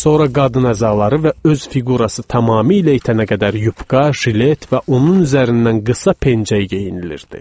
Sonra qadın əzaları və öz fiqurası tamamilə itənə qədər yupka, jilet və onun üzərindən qısa pencək geyinilirdi.